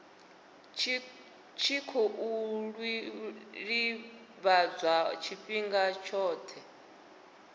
tshi khou ḓivhadzwa tshifhinga tshoṱhe